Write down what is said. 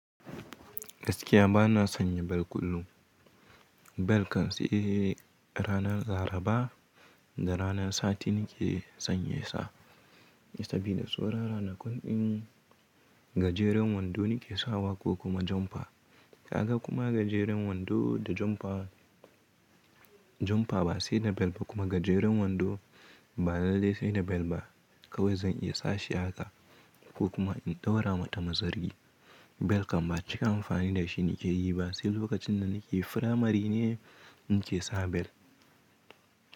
Gaskiya bana sanya bel kullum. Bel kan sai ranar Laraba da ranar Sati nike sanye sa. Sabida saura ranakun in gajeren wando nike sawa ko kuma jomfa. Kaga kuma gajeren wando da jomfa ba sai da bel ba kuma gajeren wando ba lallai sai da bel ba. Kawai zan iya sashi haka ko kuma in ɗaura mata mazari. Bel kan ba cika amfani da shi nike yi ba sai lokacin da nike firamari ne nike sa bel.